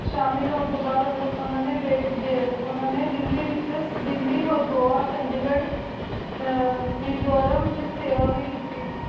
ਹੁਣ ਤੂੰ ਬਾਦ ਉਨਾ ਉਨਾਨੀ ਦਿਲੀ ਵੇਚ ਘੁਹਾ ਚੰਡੀ ਘੁਰ ਹਮ ਮੇਨ੍ਜ਼ੁਰਾ ਵੇਚ ਸੇਵਾ ਵੇ ਕੀਤੀ